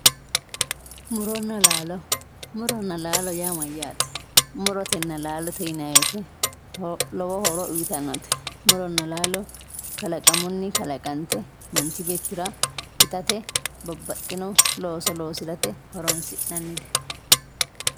Muronna laalo, muronna laalo yaa maati ,murotenna laalote yinanniti lowo horo uyittanote ,murona laalo kalaqamuni kalaqante manchi beettira itate babbaxxino looso loosirate horonsi'nannite.